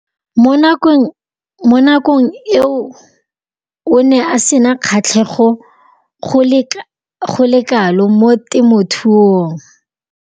Mo nakong eo o ne a sena kgatlhego go le kalo mo temothuong.